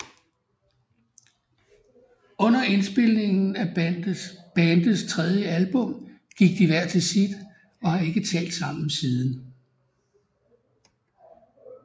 Under indspilningen af bandets tredje album gik de hver til sit og har ikke talt sammen siden